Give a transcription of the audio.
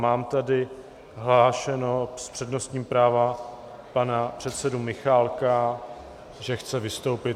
Mám tady hlášeného s přednostním právem pana předsedu Michálka, že chce vystoupit.